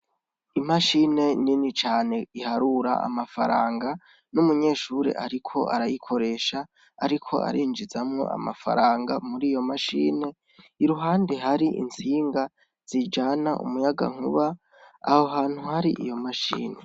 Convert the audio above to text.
Imashine nini cane iharura amafaranga, numunyeshure ariko arayikoresha ariko arinjizamwo amafaranga muriyo mashine , iruhande hari intsinga , zijana umuyagankuba , aho hantu hari iyo mashine